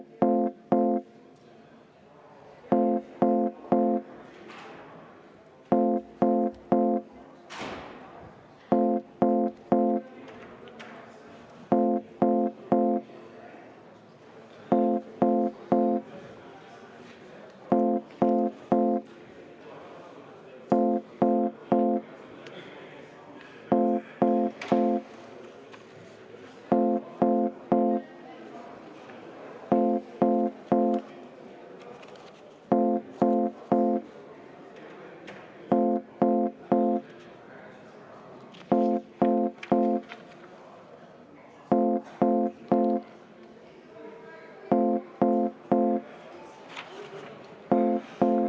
Kuna tegemist on põhiseadusevastase eelnõuga, siis ma palun panna ka see muudatusettepanek hääletusele ja enne seda kümme minutit vaheaega.